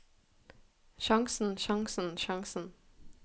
sjansen sjansen sjansen